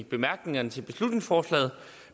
bemærkningerne til beslutningsforslaget